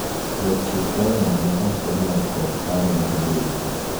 jachiw kwayo no ne ok omor kod paro mar bengi